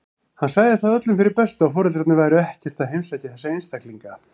Hann sagði það öllum fyrir bestu að foreldrarnir væru ekkert að heimsækja þessa einstaklinga.